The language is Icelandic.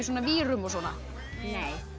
vírum og svona